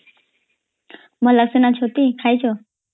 ଭଲାସିନ ଛତି ଖାଇଚ